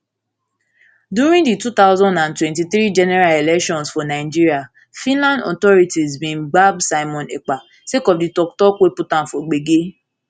during di two thousand and twenty-three general elections for nigeria finland authorities bin gbab simon ekpa sake of di tok tok wey put am am for gbege